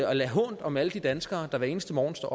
at lade hånt om alle de danskere der hver eneste morgen står